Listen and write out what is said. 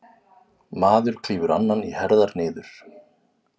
Maður klýfur annan í herðar niður.